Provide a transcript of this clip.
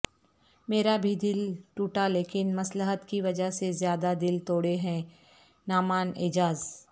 میرا بھی دل ٹوٹالیکن مصلحت کی وجہ سے زیادہ دل توڑے ہیں نعمان اعجاز